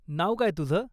नाव काय तुझं?